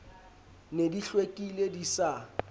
ne di hlwekile di sa